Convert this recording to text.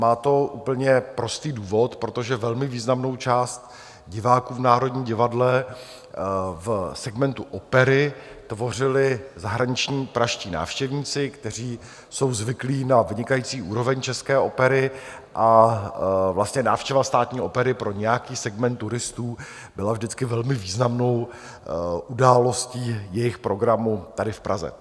Má to úplně prostý důvod, protože velmi významnou část diváků v Národním divadle v segmentu opery tvořili zahraniční pražští návštěvníci, kteří jsou zvyklí na vynikající úroveň české opery, a vlastně návštěva Státní opery pro nějaký segment turistů byla vždycky velmi významnou událostí jejich programu tady v Praze.